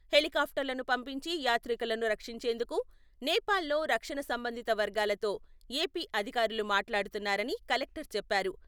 హెలికాప్టర్లను పంపించి యాత్రికులను రక్షించేందుకు, నేపాల్ లో రక్షణ సంబంధిత వర్గాలతో, ఏపీ అధికారులు మాట్లాడుతున్నారని కలెక్టర్ చెప్పారు.